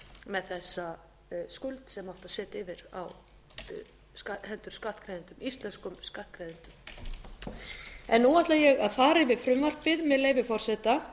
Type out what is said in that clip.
með þessa skuld sem átti að setja yfir á hendur íslenskum skattgreiðendum nú ætla ég að fara yfir frumvarpið með leyfi forseta